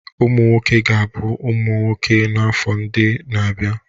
Ụmụ nwoke ga-abụ nwoke n'afọ ndị na-abịa